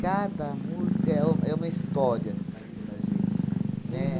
Cada música é um é uma história da vida da gente. Né? Uhum